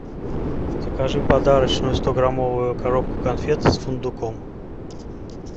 закажи подарочную стограммовую коробку конфет с фундуком